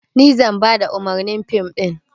Ni zan bada umarnin fim ɗin.